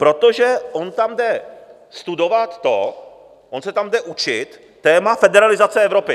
Protože on tam jde studovat to, on se tam jde učit téma federalizace Evropy.